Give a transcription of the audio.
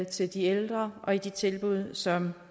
til de ældre at de tilbud som